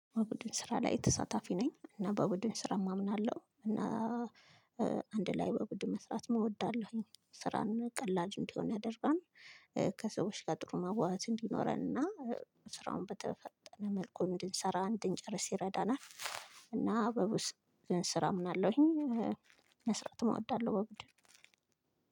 በቡድን ስራ ላይ ተሳታፊ ነኝ። እና በቡድን ስራ እማምናለሁ እና አንድ ላይ በቡድን መስራት እወዳለሁኝ። ስራን ቀላል እንዲሆን ያደርጋል። ከሰዎች ጋር ጥሩ መዋዋስ እንዲኖረን እና። ስራውን በተፈጠረ መልኩ እንድንሰራ እንድንጨርስ ይረዳናል። እና አበቡስ ስራ እምናለሁኝ ይሄን መስራት እወዳለሁ በጉዳዩ